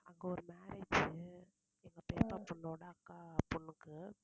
அங்க ஒரு marriage உ எங்க பெரியம்மா பொண்ணோட அக்கா பொண்ணுக்கு.